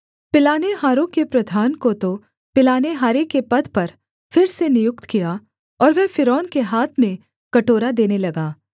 पिलानेहारों के प्रधान को तो पिलानेहारे के पद पर फिर से नियुक्त किया और वह फ़िरौन के हाथ में कटोरा देने लगा